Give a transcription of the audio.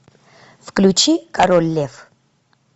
включи король лев